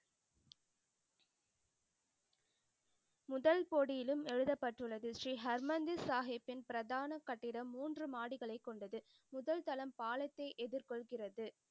முதல் போடியிலும் எழுதப்பட்டு உள்ளது. ஸ்ரீ ஹர்மந்திர் சாஹிபின் பிரதான கட்டிடம் மூன்று மாடிகளை கொண்டது. முதல் தளம் பாலத்தை எதிர் கொள்கிறது.